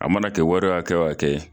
A mana kɛ wari hakɛ wo hakɛ ye